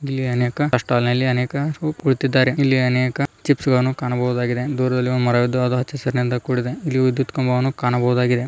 ಇಲ್ಲಿ ಅನೇಕ tea stall ನಲ್ಲಿ ಅನೇಕ ರು ಕುಳಿತಿದ್ದಾರೆ ಇಲ್ಲಿ ಅನೇಕ ಚಿಪ್ಸ್ ಗಳನ್ನು ಕಾಣಬಹುದಾಗಿದೆ ದೂರದಲ್ಲಿ ಒಂದು ಮರವಿದ್ದು ಅದು ಹಚ್ಚ ಹಸುರಿನಿಂದ ಕೂಡಿದೆ ಇಲ್ಲಿ ವಿದ್ಯುತ್ ಕಂಬವನ್ನು ಕಾಣಬಹುದಾಗಿದೆ.